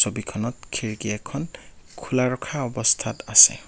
ছবিখনত খিৰিকী এখন খোলা ৰখা অৱস্থাত আছে।